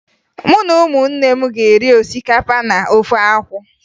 Mụ na ụmụnne m ga-eri osikapa na ofe akwụ